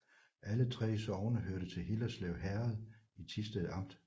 Alle 3 sogne hørte til Hillerslev Herred i Thisted Amt